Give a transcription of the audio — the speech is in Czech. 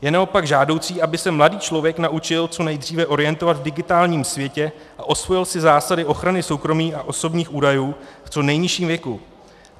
Je naopak žádoucí, aby se mladý člověk naučil co nejdříve orientovat v digitálním světě a osvojil si zásady ochrany soukromí a osobních údajů v co nejnižším věku.